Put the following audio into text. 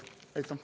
Aitäh!